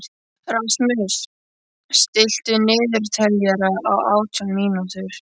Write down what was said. Rasmus, stilltu niðurteljara á átján mínútur.